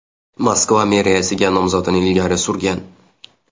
Moskva meriyasiga nomzodini ilgari surgan.